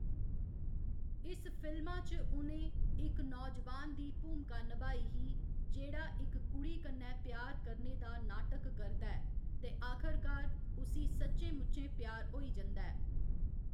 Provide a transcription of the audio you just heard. इस फिल्मा च उ'नें इक नौजवान दी भूमका नभाई ही जेह्‌‌ड़ा इक कुड़ी कन्नै प्यार करने दा नाटक करदा ऐ ते आखरकार उसी सच्चें मुच्ची प्यार होई जंदा ऐ।